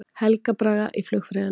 Helga Braga í flugfreyjuna